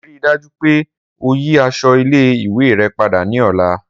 Rii daju pe o yi aṣọ ile-iwe rẹ pada ni ọla.